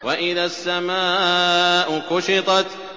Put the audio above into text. وَإِذَا السَّمَاءُ كُشِطَتْ